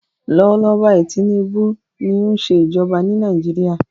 Lọ́wọ́ lọ́wọ́ báyìí Tinubu ni ó ń ṣe ìjọba ní Nàìjíríà.